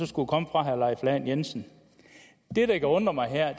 skulle komme fra herre leif lahn jensen det der kan undre mig her